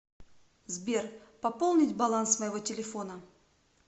сбер пополнить баланс моего телефона